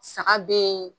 Saga be yen